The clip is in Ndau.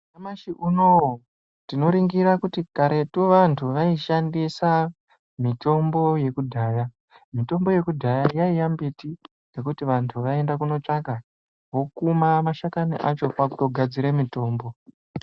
Nyamashi unouyu tinoringira kuti karetu vantu vaishandisa mitombo yokudhaya. Mitombo yokudhaya yaiva mbiti yekuti vantu vaienda kunotsvaka vokuma mashakani acho kwakutogadzire mitombo.